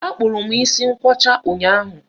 Akpụrụ m isi ngwọcha ụnyaahụ.